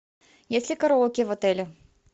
есть ли караоке в отеле